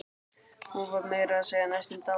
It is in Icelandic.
Hún var meira að segja næstum dáin.